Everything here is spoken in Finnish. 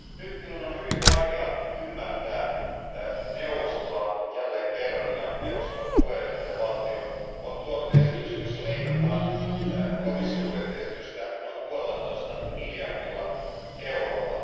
Nyt minun on hyvin vaikea ymmärtää neuvostoa jälleen kerran. Neuvoston puheenjohtajavaltio on tuonut esityksen, jossa leikataan komission budjettiesitystä noin 1,5 miljardilla eurolla.